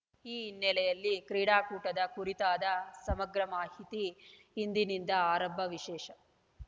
ಈ ಹಿನ್ನೆಲೆಯಲ್ಲಿ ಕ್ರೀಡಾಕೂಟದ ಕುರಿತಾದ ಸಮಗ್ರ ಮಾಹಿತಿ ಇಂದಿನಿಂದ ಆರಂಭ ವಿಶೇಷ